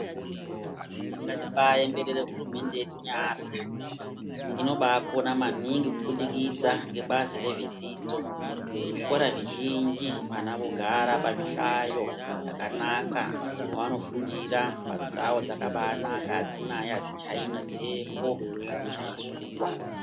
Ngatibaaemberere hurumende yedu nyara inobaakona maningi kubudikidza ngebazi rezvedzidzo. Zvikoro zvizhinji vana vogara pazvihlayo zvakanaka mwevanofundira mhatso dzavo dzakabaanaka adzichaiwi ngemhepo, adzichayi zuwa.